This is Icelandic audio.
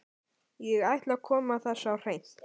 Ég ætla að koma þessu á hreint.